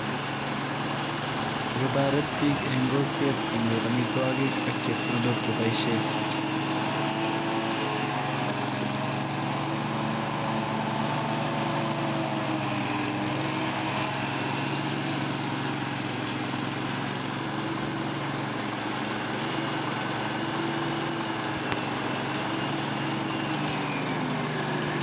Si kotoret biik eng' kokwet konyor amitwogik ak chepkondok cheboisien.